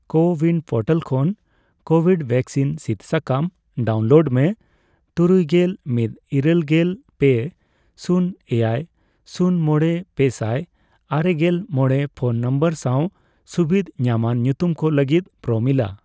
CoWIN portal ᱠᱷᱚᱱ covid vaccine ᱥᱤᱫ ᱥᱟᱠᱟᱢ ᱰᱟᱣᱩᱱᱞᱳᱰ ᱢᱮ ᱛᱩᱨᱩᱭᱜᱮᱞ ᱢᱤᱛ ,ᱤᱨᱟᱹᱞᱜᱮᱞ ᱯᱮ ,ᱥᱩᱱ ,ᱮᱭᱟᱭ ,ᱥᱩᱱ ᱢᱚᱲᱮ ,ᱯᱮᱥᱟᱭ ᱟᱨᱮᱜᱮᱞ ᱢᱚᱲᱮ ᱯᱷᱚᱱ ᱱᱚᱢᱵᱚᱨ ᱥᱟᱣ ᱥᱩᱵᱤᱫᱷ ᱧᱟᱢᱟᱱ ᱧᱩᱛᱩᱢ ᱠᱚ ᱞᱟᱹᱜᱤᱫ ᱯᱨᱳᱢᱤᱞᱟ ᱾